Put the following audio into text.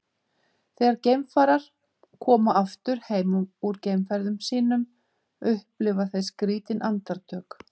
þegar geimfarar koma aftur heim úr geimferðum sínum upplifa þeir skrýtin andartök